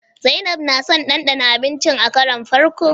Zainab na son ɗanɗana abincin a karon farko.